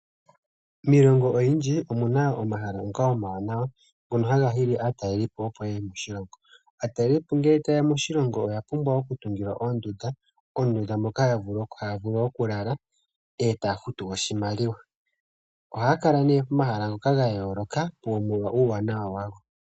Miilongo oyindji omuna omahala ngoka omawanawa ngoka haga hili aatalelipo opo yeye moshilongo. Aatalelipo ngele tayeya moshilongo oya pumbwa oku tungilwa oondunda ,moondunda moka taya vulu okulala e taya futu oshimaliwa. Ohaakala nee pomahala gayooloka taa mono uuwanawa wago.